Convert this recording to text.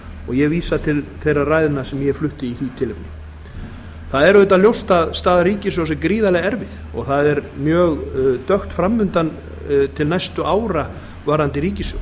ég vísa til þeirra ræðna sem ég flutti í því tilefni það er auðvitað ljóst að staða ríkissjóðs er gríðarlega erfið og það er mjög dökkt framundan til næstu ára varðandi ríkissjóð